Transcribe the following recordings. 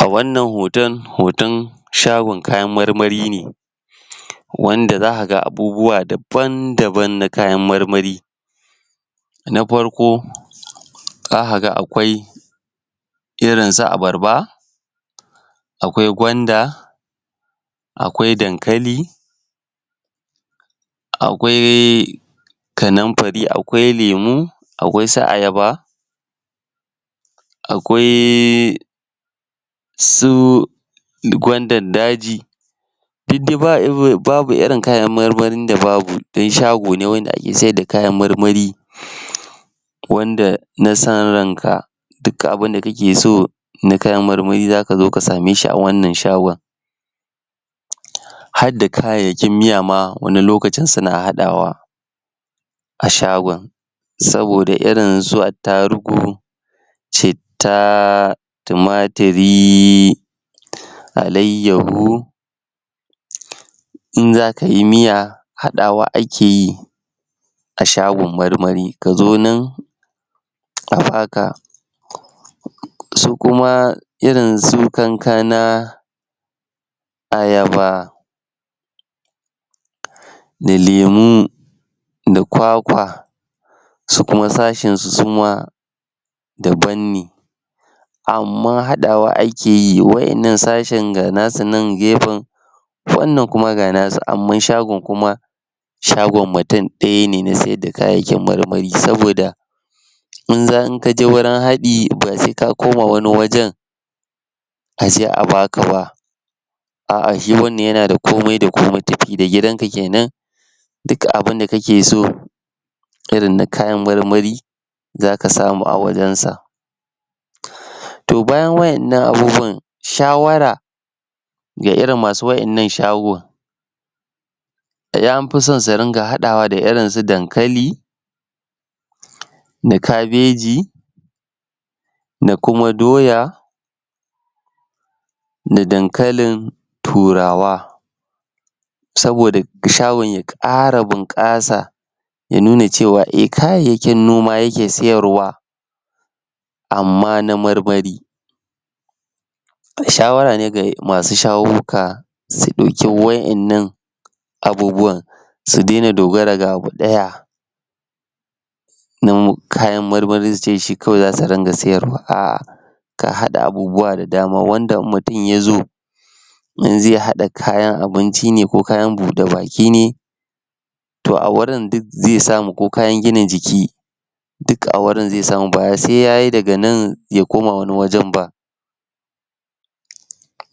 A wannan hoton, hoton shagon kayan marmari ne wanda za ka ga abubuwa dabam-dabam na kayan marmari na farko, za ka ga akwai irin su abarba, akwai gwanda, akwai dankali, akwai... kanamfari, akwai lemo, akwai su ayaba, akwai su gwandar daji, duk dai babu irin kayan marmarin da babu, don shago ne wanda ake sayar da kayan marmari wanda na san ranka duka abunda kake so, na kayan marmari za ka zo ka same shi a wanna shago. Harda kayayyakin miya ma wani lokacin suna haɗawa a shagon, saboda irin su attarugu, citta, tumatiri, alayyahu, in za ka yi miya, haɗawa akeyi a shagon marmari ka zo nan a baka, su kuma, irin su kankana, ayaba, da lemo, da kwakwa, su kuma sashin su suma dabanne, amma haɗawa akeyi, waɗannan sashin ga na su nan gefen, wannan kuma ga nasu amma shagon kuma shagon mutum ɗaya ne na saida kayan marmari saboda in ka je wurin haɗi, ba sai ka koma wani wajen aje aka bak ba. a'a shi wannan yana da komai da komai,. tafi da gidanka kenan, duka abunda ka ke so irin na kayan marmari, za ka samu a wajensa. To bayan waɗannan abubuwan shawara, ga irin masu wa'innan shago, da dai anfi so su dinga haɗawa da irinsu dakali, da kabeji, da kuma doya, da dankalin turawa, saboda shagon ya ƙara bunƙasa ya nuna cewa eh kayayyakin noma yake sayarwa amma na marmari. To shawara dai ga masu shaguka su dauki wa'innan abubuwan su de na dogara ga abu ɗaya na kayan marmari su ce shi kawai za su rika sayarwa, a'a ka haɗa abubuwa da dama wanda in mutum ya zo, in zai haɗa kayan abinci ne ko kayan buɗe baki ne to a wurin duk zai samu ko kayan gina jki ne duka a wurin zi samu ba sai ya yi daga nan ya koma wani wajen ba.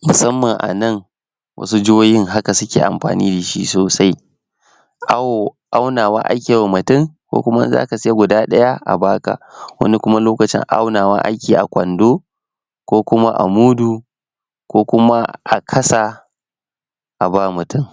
Musamman anan wasu jahohin hka suke amfani da sosai. aunawa akewa mutum ko kuma in za ka sai guda ɗaya a baka wani kuma lokacin, aunawa akeyi a kwando, ko kuma a mudu, ko kuma a kasa a ba mutum.